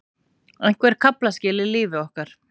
Einhver kaflaskil í lífi okkar.